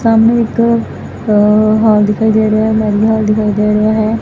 ਸਾਹਮਣੇ ਇੱਕ ਅ ਹਾਲ ਦਿਖਾਈ ਦੇ ਰਿਹਾ ਆ ਮੈਰੀਜ ਹਾਲ ਦਿਖਾਈ ਦੇ ਰਿਹਾ ਹੈ।